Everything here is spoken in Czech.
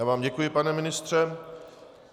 Já vám děkuji, pane ministře.